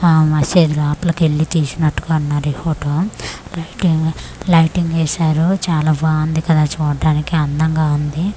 ఆ మసీద్ లోపలికెళ్ళి తీసినట్టుగా ఉన్నారీ ఫోటో లైటింగు లైటింగ్ ఏశారు చాలా బాగుంది కదా చూడ్డానికి అందంగా ఉంది.